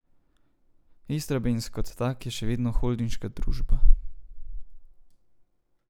Istrabenz kot tak je še vedno holdinška družba.